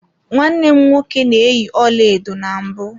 Nwanne m nwoke na-eyi ọlaedo na mbụ.